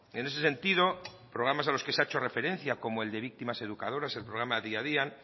en ese sentido programas a los que se ha hecho referencia como el de víctimas educadoras el programa día a día